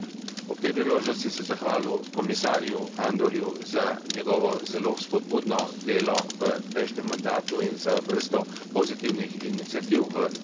Ob tej priložnosti bi se zahvalil komisarju Andorju za njegovo zelo vzpodbudno delo v prejšnjem mandatu in za vrsto pozitivnih iniciativ v korist mladih.